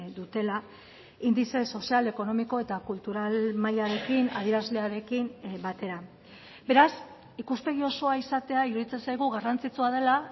dutela indize sozial ekonomiko eta kultural mailarekin adierazlearekin batera beraz ikuspegi osoa izatea iruditzen zaigu garrantzitsua dela